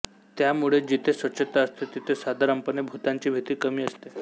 त्यामुळे जिथे स्वच्छता असते तिथे साधारणपणे भुतांची भीती कमी असते